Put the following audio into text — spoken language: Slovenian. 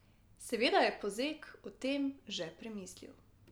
Seveda je Pozeg o tem že premislil.